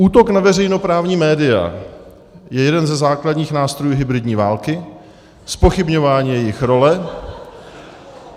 Útok na veřejnoprávní média je jeden ze základních nástrojů hybridní války, zpochybňování jejich role.